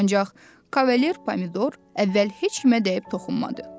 Ancaq kavalier Pomidor əvvəl heç kimə dəyib toxunmadı.